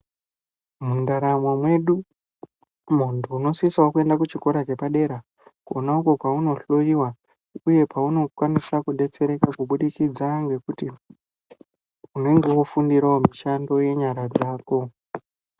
Mundaramo mwedu muntu unosisawo kuenda pachikora chepadera kwonakwo kwauno hloyiwa uye kwaunokwanisa kudetsereka kubudikidza ngekuti unenge wofundirawo mishando yenyara dzako